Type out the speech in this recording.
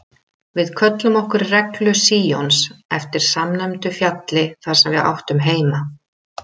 Við kölluðum okkur Reglu Síons eftir samnefndu fjalli þar sem við áttum heima.